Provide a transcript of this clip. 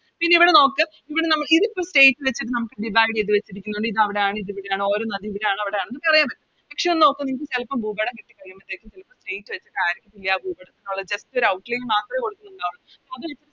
പിന്നെ ഇവിടെ നോക്ക് ഇവിടെ നമ്മള് ഇതിപ്പോ State വച്ചിട്ട് നമുക്ക് Divide ചെയ്ത വെച്ചിരിക്കുന്നൊണ്ട് ഇത് അവിടാണ് ഇത് ഇവിടാണ് ഓരോ നദിയും ഇവിടാണ് അവിടെയാണ് എന്നറിയാൻ പറ്റും പക്ഷെ ഒന്ന് നോക്ക് നിങ്ങക്ക് ചെലപ്പോ ഭൂപടം കിട്ടി കഴിയുമ്പത്തേക്കും ചെലപ്പോ State വെച്ചിട്ടായിരിക്കത്തില്ല ഭൂപടത്തിനുള്ളിൽ Just ഒര് Outline മാത്രേ കൊടുത്തിട്ടുണ്ടാവുള്ളു അത്